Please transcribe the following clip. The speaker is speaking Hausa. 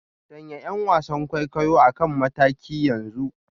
Sanya 'yan wasan kwaikwayo a kan mataki yanzu